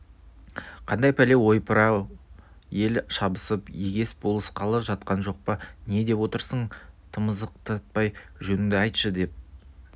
қандай пәле ойпыр-ау ел шабысып егес болысқалы жатқан жоқпа не деп отырсың тамызықтатпай жөніңді айтшы деп